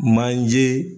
Manjee